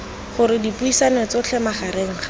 gore dipuisano tsotlhe magareng ga